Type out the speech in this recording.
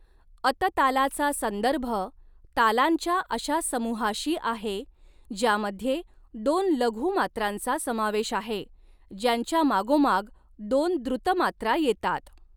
अत तालाचा संदर्भ तालांच्या अशा समूहाशी आहे, ज्यामध्ये दोन लघू मात्रांचा समावेश आहे, ज्यांच्या मागोमाग दोन द्रुत मात्रा येतात.